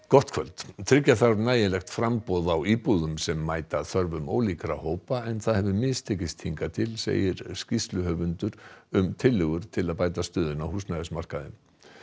gott kvöld tryggja þarf nægilegt framboð á íbúðum sem mæta þörfum ólíkra hópa en það hefur mistekist hingað til segir skýrsluhöfundur um tillögur til að bæta stöðuna á húsnæðismarkaði